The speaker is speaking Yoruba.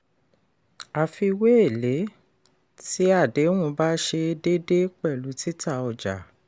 àfiwé èlé tí adéhùn bá ṣe déédé pẹ̀lú títà ọjà.